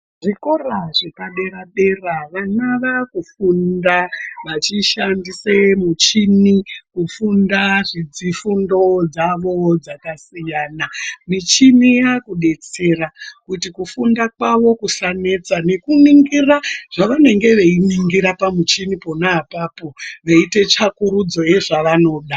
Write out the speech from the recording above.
Zvikora zvepadera-dera vana vakufunda vachishandise muchini kufunda zvifundo dzavo dzakasiyana. Michini yakubetsera kuti kufunda kavo kusanetsa. Veiningira zvanenge veiningira pamuchini ponaapapo veiita tsvakurudzo yezvavanoda.